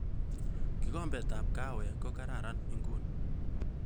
Kikombetab kahawek ko kararan nguni